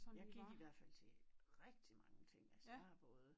Jeg i hvert fald til rigtig mange ting altså jeg har både